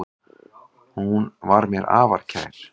Hún var mér afar kær.